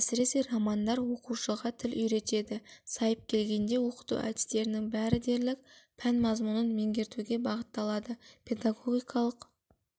әсіресе романдар оқушыға тіл үйретеді сайып келгенде оқыту әдістерінің бәрі дерлік пән мазмұнын меңгертуге бағытталады педагогикалық